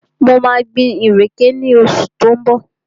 Mo maa gbin ìrèké ní oṣù tí ó ń bọ̀